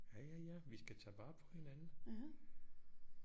Ja ja ja vi skal tage vare på hinanden